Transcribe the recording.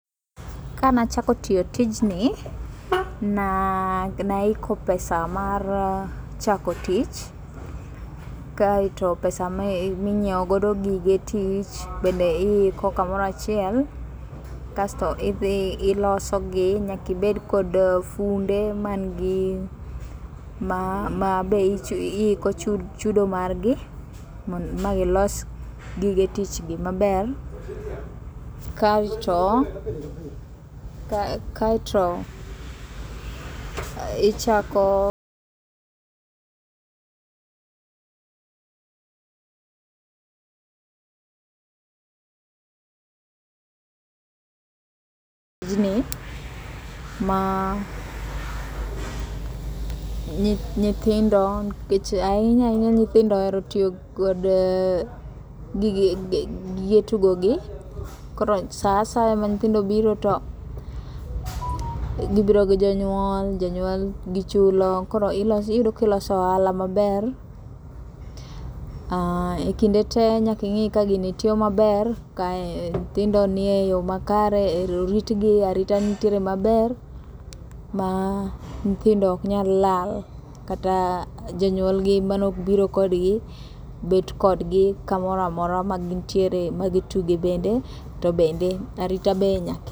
Kanachako tiyo tini, na naiko pesa mar chako tich kaeto pesa minyieogo gige tich bende iikokamorachiel. Kasto idhi ilosogi, nyakibed kod funde ma be iiko chudo margi ma gilos gige tich gi maber. Kaeto, kaeto ichako, tijni ma nyithindo nkech ahinya ahinya nyithindo ohero tiyo kod gige tugo gi. Koro sa a saya ma nyithindo obiro to gibiro gi jonyuol, jonyuol gichulo koro iyudo kiloso ohala maber. Ah, e kinde te nyaking'i ka gini tiyo maber, kae nyithindo ni e yo makare, e oritgi arita nitiere maber. Ma nyithindo ok nyal lal, kata jonyuolgi manobiro kodgi bet kodgi kamoramora ma gintiere ma gitugi bende to bende arita be nyaki.